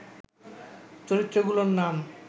চরিত্রগুলোর নাম